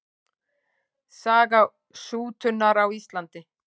Saga sútunar á Íslandi.